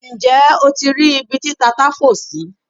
Nje o ti ri ibi ti tata fo si?